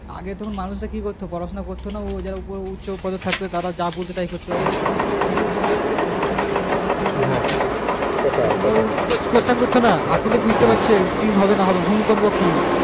আগে তো মানুষ এ কি করতো পড়াশোনা করতো না ও যারা উচ্চপদে থাকতো ওরা যাই বলতো তাই করতো সূর্য দক্ষিণ দিকে উঠবে তো দক্ষিণ দিকেই উঠবে সেটাই সেটাই আর questions করতো না এখন তো বুজতে পারছে কি হবে না হবে ভূমিকম্প কি